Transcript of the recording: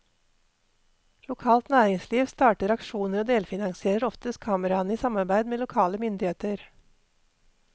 Lokalt næringsliv starter aksjoner og delfinansierer oftest kameraene i samarbeid med lokale myndigheter.